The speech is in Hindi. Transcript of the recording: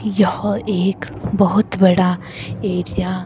यह एक बहुत बड़ा एरिया --